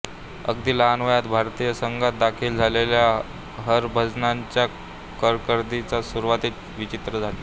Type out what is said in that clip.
अगदी लहान वयात भारतीय संघात दाखल झालेल्या हरभजनच्या कारकिर्दीची सुरुवात विचित्र झाली